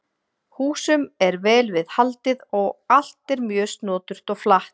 Húsum er vel við haldið og allt er mjög snoturt og flatt.